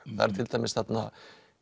það eru til dæmis þarna